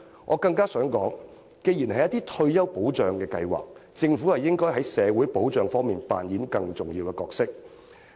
我更想指出的是，既然是退休保障計劃，政府應該在社會保障方面扮演更重要的角色。